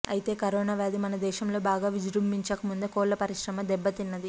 అయితే కరోనా వ్యాధి మన దేశంలో బాగా విజృంభించకముందే కోళ్ల పరిశ్రమ దెబ్బతిన్నది